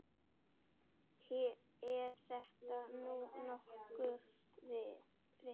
Er þetta nú nokkurt vit.